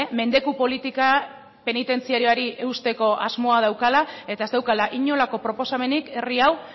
mendeku politika penitentziarioari eusteko asmoa daukala eta ez daukala inolako proposamenik herri hau